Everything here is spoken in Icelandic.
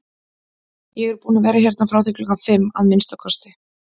Ég er búinn að vera hérna frá því klukkan fimm, að minnsta kosti